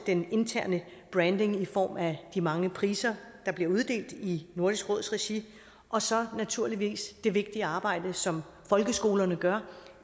den interne branding i form af de mange priser der bliver uddelt i nordisk råds regi og så naturligvis det vigtige arbejde som folkeskolerne gør